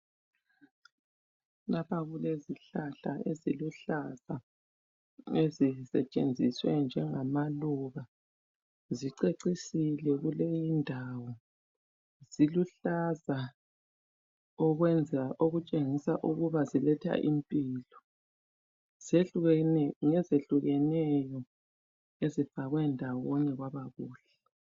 Lapha kulezihlahla eziluhlaza ezisetshenziswe njenhamaluba zicecisile kuleyi indawo ziluhlaza okwenza okutshengisa ukuba ziletha impilo ngezehlukeneyo ezikhanya ndawonye kwaba kuhle.